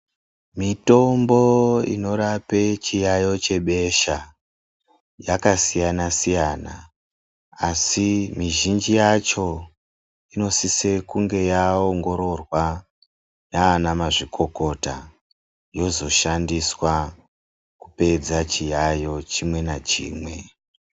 Mitombo inorape chiyayiyo chebesha yakasiyana siyana asi mizhinji yacho inosise kunge yaongorwa nanamazvikokota yozoshandiswa kupedza chiyayiyo chimwe nachimwe .